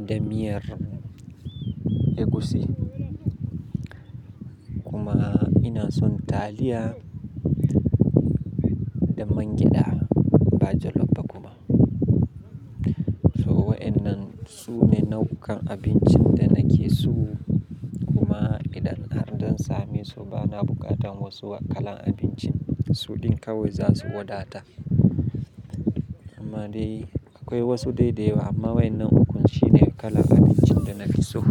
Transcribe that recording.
da miyar egusi. Kuma ina son taliya da mangyaɗa, ba jallaf ba kuma. So waɗannan su ne nau'ukan abincin da nake so. Kuma idan har zan same su bana buƙatan wasu kalan abinci, su ɗin kawai za su wadata. Amma dai akwai wasu dai dayawa, amma waɗannan uku shi ne kalan abincin da na fi so.